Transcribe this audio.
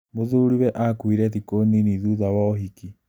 Mũthuriwe akuire thikũ nini thutha wa ũhiki